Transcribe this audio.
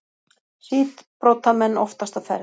Síbrotamenn oftast á ferð